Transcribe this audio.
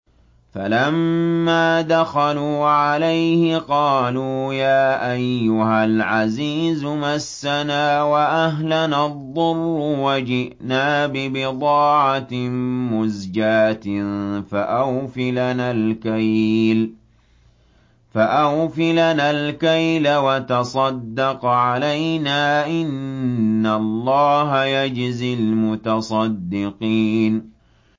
فَلَمَّا دَخَلُوا عَلَيْهِ قَالُوا يَا أَيُّهَا الْعَزِيزُ مَسَّنَا وَأَهْلَنَا الضُّرُّ وَجِئْنَا بِبِضَاعَةٍ مُّزْجَاةٍ فَأَوْفِ لَنَا الْكَيْلَ وَتَصَدَّقْ عَلَيْنَا ۖ إِنَّ اللَّهَ يَجْزِي الْمُتَصَدِّقِينَ